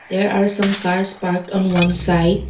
There are some cars parked on one side.